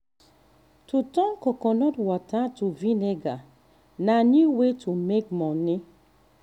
to turn coconut water to vinegar na new way to make money.